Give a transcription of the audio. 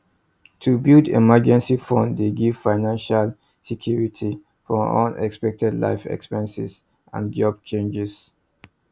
to build emergency fund dey give financial security for unexpected life expenses and job changes